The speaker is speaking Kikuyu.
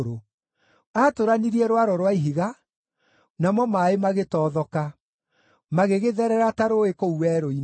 Aatũranirie rwaro rwa ihiga, namo maaĩ magĩtothoka; magĩgĩtherera ta rũũĩ kũu werũ-inĩ.